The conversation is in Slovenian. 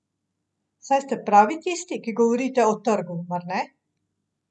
Saj ste prav vi tisti, ki govorite o trgu, mar ne?